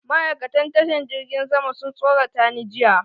Ma'aikatan tashan jirgin sama sun tsorata ni jiya.